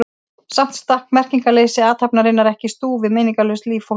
Samt stakk merkingarleysi athafnarinnar ekki í stúf við meiningarlaust líf fólksins.